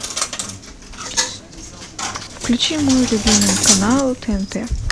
включи мой любимый канал тнт